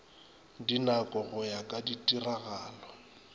dinako go ya ka ditiragalo